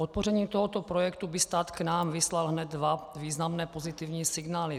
Podpořením tohoto projektu by stát k nám vyslal hned dva významné pozitivní signály.